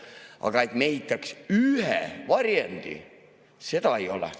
Aga et me ehitaks ühe varjendi, seda ei ole.